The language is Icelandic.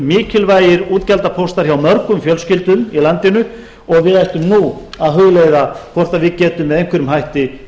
mikilvægir útgjaldapóstar hjá mörgum fjölskyldum í landinu og við ættum nú að hugleiða hvort við getum með einhverjum hætti